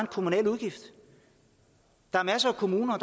kommunal udgift der er masser af kommuner